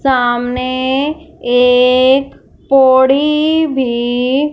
सामने एक पोड़ी भी--